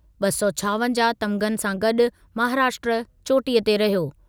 ॿ सौ छावंजाहु तमिग़नि सां गॾु महाराष्ट्र चोटीअ ते रहियो।